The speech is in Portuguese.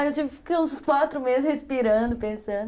Aí eu fiquei uns quatro meses respirando, pensando.